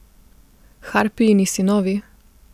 Harpijini sinovi?